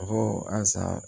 A ko asan